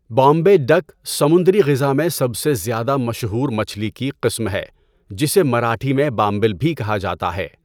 Bombay duck سمندری غذا میں سب سے زیادہ مشہور مچھلی کی قسم ہے، جسے مراٹھی میں بامبل بھی کہا جاتا ہے۔